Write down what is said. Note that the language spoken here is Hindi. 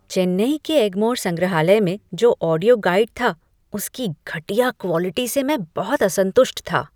चेन्नई के एग्मोर संग्रहालय में जो ऑडियो गाइड था उसकी घटिया क्वॉलिटी से मैं बहुत असंतुष्ट था।